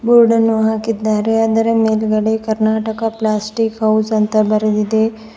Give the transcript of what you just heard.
Board ಅನ್ನು ಹಾಕಿದ್ದಾರೆ ಆದರ ಮೇಲ್ಗಡೆ ಕರ್ನಾಟಕ ಪ್ಲಾಸ್ಟಿಕ್ ಹೌಸ್ ಅಂತ ಬರೆದಿದೆ.